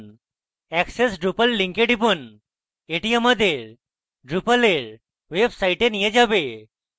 এখন access drupal link টিপুন এটি আমাদের drupal we website নিয়ে যাবে